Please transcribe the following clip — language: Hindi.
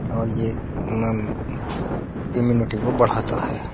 और ये मम इम्युनिटी को बढ़ता है।